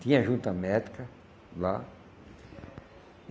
Tinha a junta médica lá.